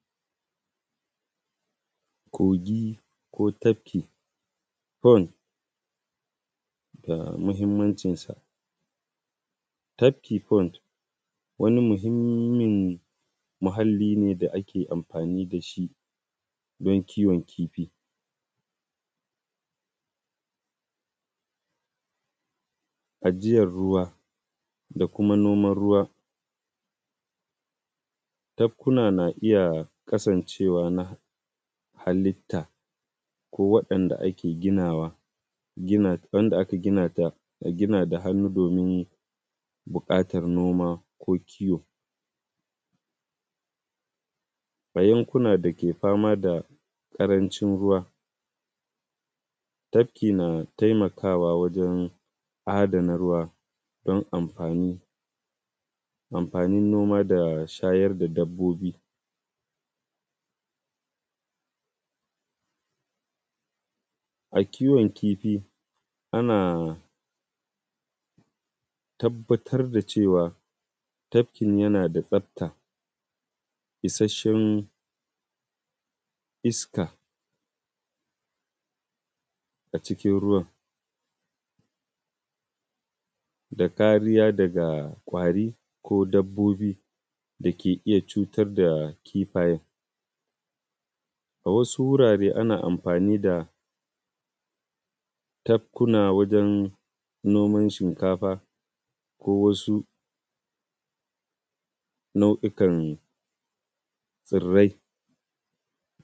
Kogi ko tabki pond da muhimmancinsa. Tabki pond wani muhimmin muhalli ne da ake amfani da shi don kiwon kifi, ajiyar ruwa da kuma noman ruwa. Tabkuna na iya kasancewa na halitta, ko waɗanda ake ginawa, wanda aka gina da hannu domin buƙatar noma ko kiwo. A yankuna da ke fama da ƙarancin ruwa tabki na taimakawa wajen adana ruwa don amfanin noma da shayar da dabbobi. A kiwon kifi ana tabbatar da cewa tabkin yana da tsafta, isashshen iska, a cikin ruwan da kariya daga ƙwari ko dabbobi da ke iya cutar da kifayen. A wasu wurare ana amfani da tabkuna wajen noman shinkafa ko wasu nau’ikan tsirrai.